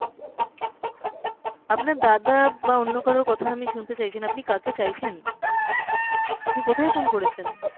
আপনার দাদা বা অন্য কারোর কথা আমি শুনতে চাইছি না, আপনি কাকে চাইছেন? অ্যাঁ আপনি কোথায় phone করেছেন?